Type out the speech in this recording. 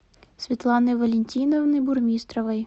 светланы валентиновны бурмистровой